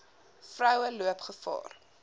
vroue loop gevaar